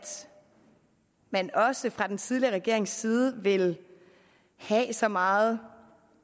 man også fra den tidligere regerings side vil have så meget